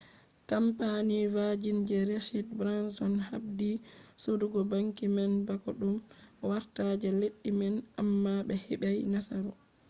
kampani vajin je richad branson habdi sodugo banki man bako ɗum wartta je leddi man amma ɓe heɓai nasaru